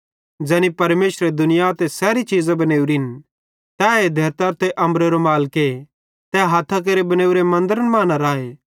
ज़ैनी परमेशरे दुनिया ते सैरी चीज़ां बनेवरिन तै धेरतरो ते अम्बरेरो मालिके तै हथ्थां केरे बनेवरे मन्दरन मां न राए